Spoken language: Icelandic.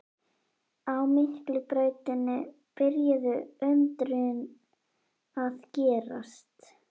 Á Miklubrautinni byrjuðu undrin að gerast.